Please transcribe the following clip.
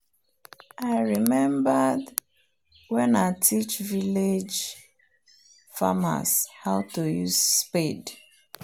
i remembered wen i teach village farmers how to use spade